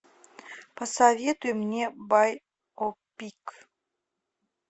посоветуй мне байопик